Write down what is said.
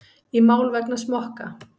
Í mál vegna smokka